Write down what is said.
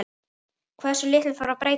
Hversu litlu þarf að breyta?